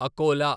Akola